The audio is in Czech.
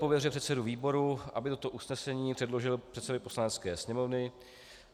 Pověřuje předsedu výboru, aby toto usnesení předložil předsedovi Poslanecké sněmovny.